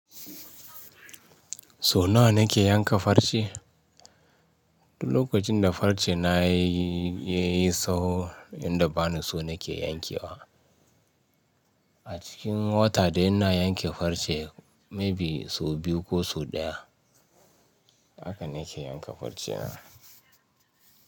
So nawa nake yanka farce? Lokacin da farce na ya yi tsawo, inda bani so nake yankewa. A cikin wata dai ina yanke farce maybe sau biyu ko sau ɗaya. Haka nake yanka farce na.